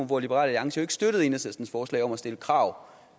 hvor liberal alliance ikke støttede enhedslistens forslag om at stille krav om